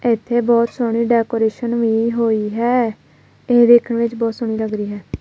ਇਥੇ ਬਹੁਤ ਸੋਹਣੀ ਡੈਕੋਰੇਸ਼ਨ ਵੀ ਹੋਈ ਹੈ ਇਹ ਦੇਖਣ ਵਿੱਚ ਬਹੁਤ ਸੋਹਣੀ ਲੱਗ ਰਹੀ ਹੈ।